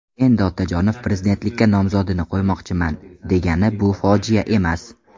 Endi Otajonov prezidentlikka nomzodini qo‘ymoqchiman, degani bu fojia emas.